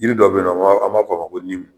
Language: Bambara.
yiri dɔ be yen nɔ an ba fɔ a ma ko